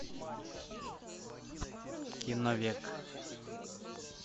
киновек